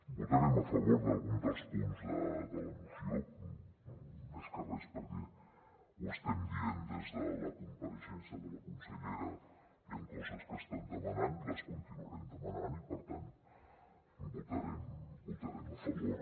votarem a favor d’algun dels punts de la moció més que res perquè ho estem dient des de la compareixença de la consellera hi han coses que estem demanant les continuarem demanant i per tant hi votarem a favor